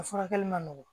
A furakɛli man nɔgɔ